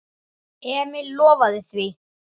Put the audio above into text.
Emil lofaði því.